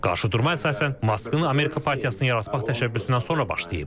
Qarşıdurma əsasən Maskın Amerika partiyasını yaratmaq təşəbbüsündən sonra başlayıb.